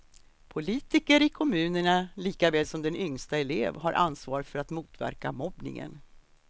Politiker i kommunerna lika väl som den yngsta elev har ansvar för att motverka mobbningen.